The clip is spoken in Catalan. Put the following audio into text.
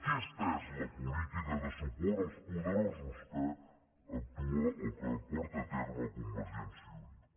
aquesta és la política de suport als poderosos que porta a terme convergència i unió